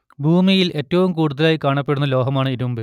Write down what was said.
ഭൂമിയിൽ ഏറ്റവും കൂടുതലായി കാണപ്പെടുന്ന ലോഹമാണ് ഇരുമ്പ്